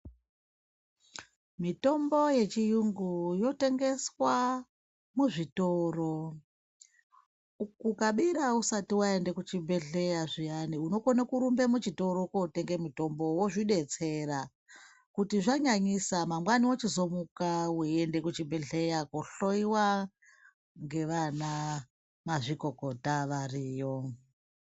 Mitombo yechiyungu yotengeswa muzvitoro. Kukabira usita waenda kuchibhedhleya zviyani unokona kurumba kuenda muchitoro kunotonga mutombo wozvidetsera kuti zvanyanyisa mangwani wochizomuka uchienda kuchibhedhleya kohloyiwa ngevana mazvikokota variyo.